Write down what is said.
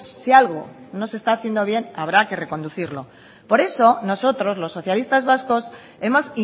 si algo no se está haciendo bien habrá que reconducirlo por eso nosotros los socialistas vascos hemos